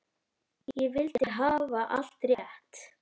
Ég vildi hafa allt rétt.